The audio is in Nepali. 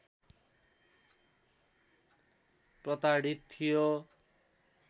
प्रताडित थियो